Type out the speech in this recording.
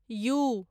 U